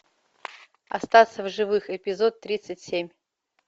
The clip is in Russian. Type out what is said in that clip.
остаться в живых эпизод тридцать семь